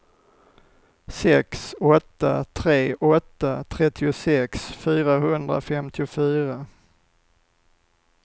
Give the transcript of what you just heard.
sex åtta tre åtta trettiosex fyrahundrafemtiofyra